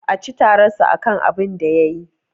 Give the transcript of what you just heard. A ci tararsa akan abinda yayi.